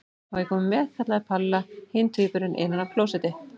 Má ég koma með? kallaði Palla hinn tvíburinn innan af klósetti.